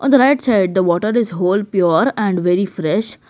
in the right side the water is whole pure and very fresh.